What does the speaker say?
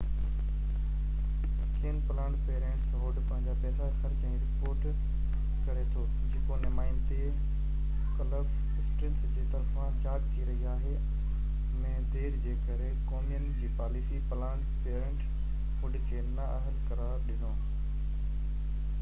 ڪيئن planned parenthood پنهنجا پئسا خرچ ۽ رپورٽ ڪري ٿو جيڪو نمائندي ڪلف اسٽرنس جي طرفان جاچ ٿي رهي آهي ۾ دير جي ڪري ڪومين جي پاليسي پلانڊ پئرينٽ هوڊ کي نا اهل قرار ڏنو